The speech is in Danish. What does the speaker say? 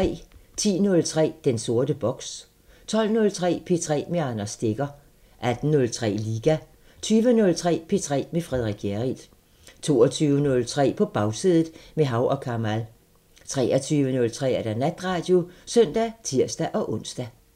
10:03: Den sorte boks 12:03: P3 med Anders Stegger 18:03: Liga 20:03: P3 med Frederik Hjerrild 22:03: På Bagsædet – med Hav & Kamal 23:03: Natradio (søn og tir-ons)